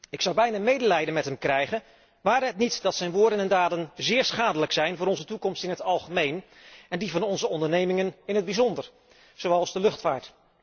Ik zou bijna medelijden met hem krijgen, ware het niet dat zijn woorden en daden zeer schadelijk zijn voor onze toekomst in het algemeen, en die van onze ondernemingen in het bijzonder, zoals de luchtvaart.